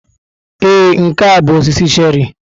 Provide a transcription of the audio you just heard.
Ee, nke a bụ osisi cherrị.